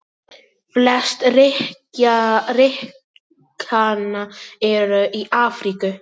Flest ríkjanna eru í Afríku.